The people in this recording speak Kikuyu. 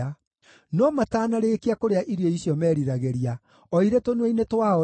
No matanarĩkia kũrĩa irio icio meriragĩria, o irĩ tũnua-inĩ twao-rĩ,